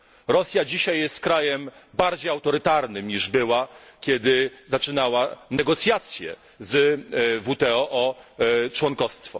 Rosja dzisiaj jest krajem bardziej autorytarnym niż była, kiedy zaczynała negocjacje z WTO o członkowstwo.